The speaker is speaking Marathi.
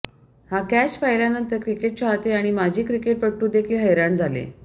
हा कॅच पाहिल्यानंतर क्रिकेट चाहते आणि माजी क्रिकेटपटू देखील हैराण झाले